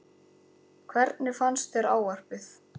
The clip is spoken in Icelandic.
Helga: Hvernig fannst þér ávarpið?